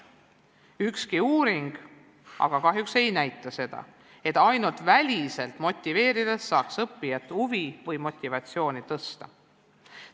Ükski uuring aga kahjuks ei näita seda, et ainult väliselt motiveerides saaks õppijate huvi või motivatsiooni suurendada.